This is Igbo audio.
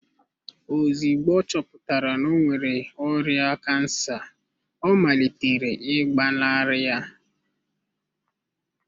Ozugbo ọ chọpụtara na ọ nwere ọrịa kansa ọ malitere ịgbanarị ya.